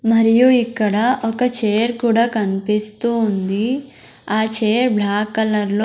మరియు ఇక్కడ ఒక చైర్ కూడా కనిపిస్తూ ఉంది ఆ చైర్ బ్లాక్ కలర్ లో --